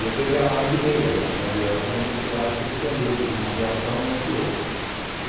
E eu peguei a mala e virei, era umas nove horas da noite, eu acho que ele entendeu como uma reação e me atirou.